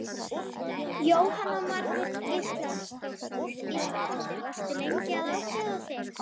Jóhanna Margrét Gísladóttir: Varstu lengi að ákveða þig?